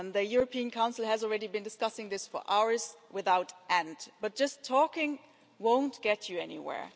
The European Council has already been discussing this for hours without end, but just talking won't get you anywhere.